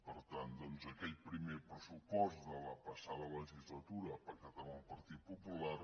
per tant doncs aquell primer pressupost de la passada legislatura pactat amb el partit popular